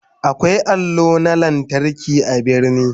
Akwai allo na lantarki a birni.